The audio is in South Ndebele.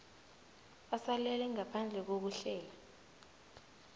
asalele ngaphandle kokuhlela